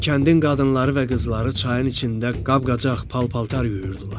Kəndin qadınları və qızları çayın içində qab-qacaq, pal-paltar yuyurdular.